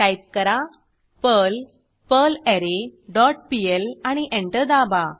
type करा Perl perlre dot PL आणि enter दाबा